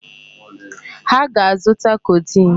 Ha ga-azụta codeine.